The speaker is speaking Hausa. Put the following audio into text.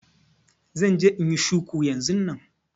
Zan je inyi shuku yanzun nan